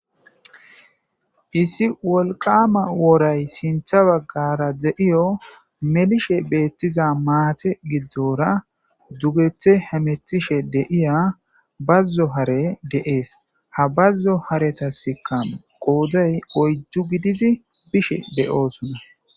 Issi wolqama woray sintha baggara de7iyo melishe beettiza maate giddora dugethe hametishe deiya bazzo hare deees ha bazzo haretaska qooday oyjju gidizi bishe deyoosunna